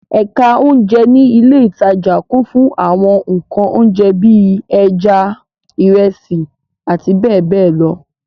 Ẹ̀ka oúnjẹ ní ilé-ìtajà kún fún àwọn nǹkan oúnjẹ bí i; ẹja, ìrẹsì àti bẹ́ẹ̀ bẹ́ẹ̀ lọ.